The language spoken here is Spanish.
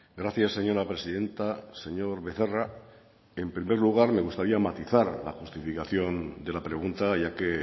gracias señora presidenta señor becerra en primer lugar me gustaría matizar la justificación de la pregunta ya que